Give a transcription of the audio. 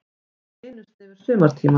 Ekki einu sinni yfir sumartímann.